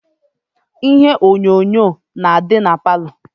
Ihe onyonyo na adi na parlour.